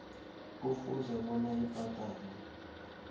kufuze bona ibhadalwe